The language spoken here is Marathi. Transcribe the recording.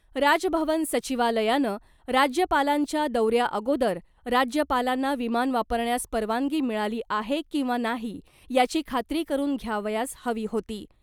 राजभवन सचिवालयानं राज्यपालांच्या दौऱ्याअगोदर राज्यपालांना विमान वापरण्यास परवानगी मिळाली आहे किंवा नाही याची खात्री करून घ्यावयास हवी होती .